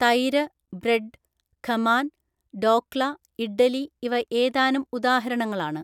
തൈര്, ബ്രഡ്, ഖമാൻ, ഡോക്ള, ഇഡ്ഡലി ഇവ ഏതാനും ഉദാഹരണങ്ങ ളാണ്.